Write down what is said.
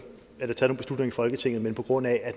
beslutninger i folketinget men på grund af at